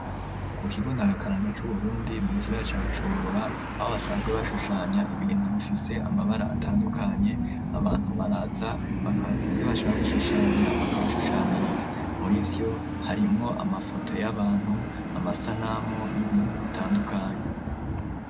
Kukigo ndangakaranga cu Burundi mu gisigara ca Bujumbura abo basanzwe bashushanya ibintu bifise amabara atandukanye abantu baraza bakaba bwire ivyo bashaka gushushanya bakabashushaniriza muri byo harimwo amafoto y'abantu amasanamu y'ibintu bitandukanye.